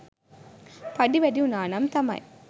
පඩි වැඩි වුණානම් තමයි